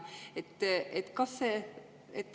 Teie aeg!